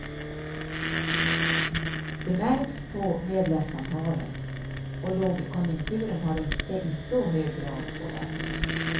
Det märks på medlemsantalet, och lågkonjunkturen har inte i så hög grad påverkat oss.